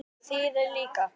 Hersir: Þið líka?